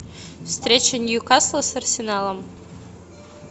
встреча ньюкасла с арсеналом